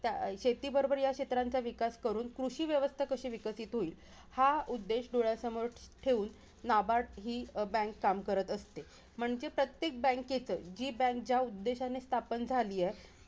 शेतीबरोबर या क्षेत्रांचा विकास करून कृषीव्यवस्था कशी विकसित होईल, हा उद्देश डोळ्यासमोर ठेवून NABARD हि bank काम करत असते. म्हणजे प्रत्येक bank चं जी bank ज्या उद्देशाने स्थापन झाली आहे, त्या